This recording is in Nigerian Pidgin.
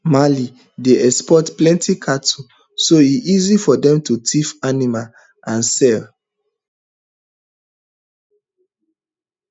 mali dey export plenty cattle so e easy for dem to thief animals and sell